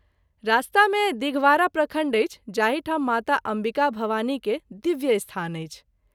रास्ता मे दिघवारा प्रखंड अछि जाहि ठाम माता अम्बिका भवानी के दिव्य स्थान अछि।